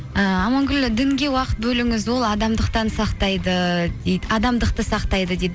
ііі амангүл дінге уақыт бөліңіз ол адамдықты сақтайды дейді